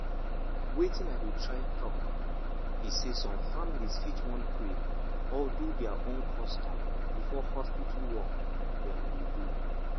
wetin i dey try talk be say some families fit want pray or do their own custom before hospital work dem go do.